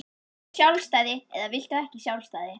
Viltu sjálfstæði eða viltu ekki sjálfstæði?